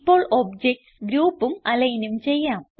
ഇപ്പോൾ ഒബ്ജക്റ്റ്സ് ഗ്രൂപ്പും alignനും ചെയ്യാം